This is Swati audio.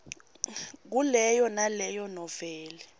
kuleyo naleyo noveli